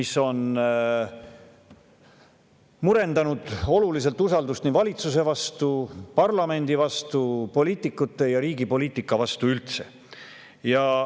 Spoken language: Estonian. See on olulisel määral murendanud usaldust valitsuse vastu, parlamendi vastu, poliitikute ja riigi poliitika vastu üldse.